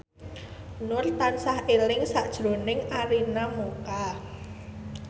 Nur tansah eling sakjroning Arina Mocca